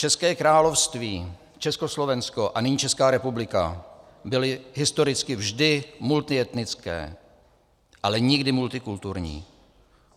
České království, Československo a nyní Česká republika byly historicky vždy multietnické, ale nikdy multikulturní.